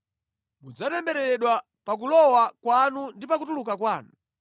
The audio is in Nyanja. Mudzatembereredwa pa kulowa kwanu ndi pa kutuluka kwanu.